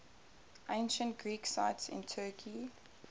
ancient greek sites in turkey